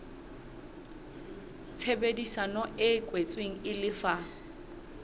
tshebedisano e kwetsweng e lefa